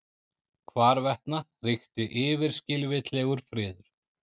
Hvarvetna ríkti yfirskilvitlegur friður.